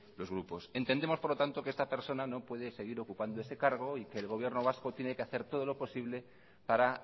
los grupos entendemos por lo tanto que esta persona no puede seguir ocupando ese cargo y que el gobierno vasco tiene que hacer todo lo posible para